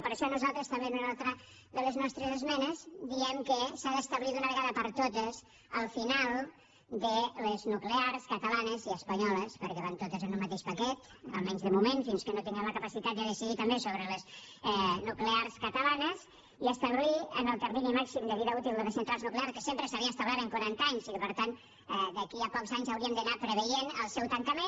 per això nosaltres també en una altra de les nostres esmenes diem que s’ha d’establir d’una vegada per totes el final de les nuclears catalanes i espanyoles perquè van totes en un mateix paquet almenys de moment fins que no tinguem la capacitat de decidir també sobre les nuclears catalanes i establir el termini màxim de vida útil de les centrals nuclears que sempre s’havia establert en quaranta anys i que per tant d’aquí a pocs anys hauríem d’anar preveient el seu tancament